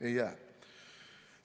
Ei jää.